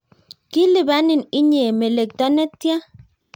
Kilipanin inye melekto netia?